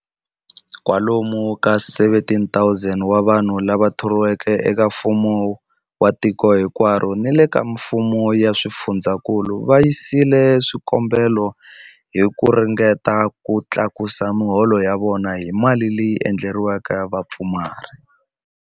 Kwalomu ka 17,000 wa vanhu lava thoriweke eka mfumo wa tiko hinkwaro ni le ka mifumo ya swifundzankulu va yisile swikombelo hi ku ringeta ku tlakusa miholo ya vona hi mali leyi endleriweke vapfumari.